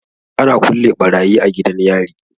Ana kulle barayi a gidan yari.